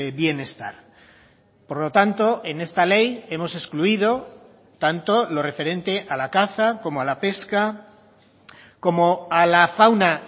bienestar por lo tanto en esta ley hemos excluido tanto lo referente a la caza como a la pesca como a la fauna